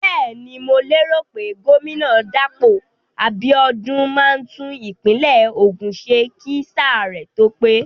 Bẹ́ẹ̀ni, mo lérò pé gómìnà Dàpọ̀ Abíọ́dún máa tún ìpínlẹ̀ Ògùn ṣe kí sáà rẹ̀ tó pé.